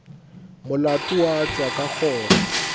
molato wa tšwa ka kgoro